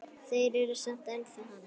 Þeir eru samt ennþá hann.